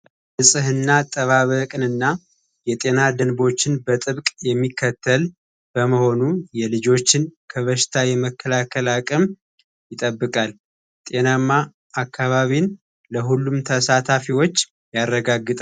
ንጽህና አጠባበቅ እና የጤና ደንቦችን በጠብቅ የሚከተል በመሆኑ የልጆችን ከበሽታ የመከላከል አቅም ይጠብቃል። ጤናማ አካባቢን ለሁሉም ተሳታፊዎች ያረጋግጣል።